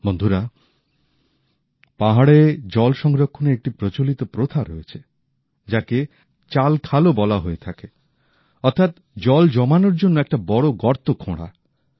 বন্ধুরা পাহাড়ে জল সংরক্ষণের একটি প্রচলিত প্রথা রয়েছে যাকে চালখালও বলা হয়ে থাকে অর্থাৎ জল জমানোর জন্য একটা বড় গর্ত খোঁড়া